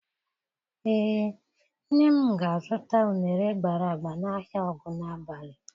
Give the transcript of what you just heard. Ee, nne m ga-azụta uṅere gbara agba n'ahịa Ogunabali.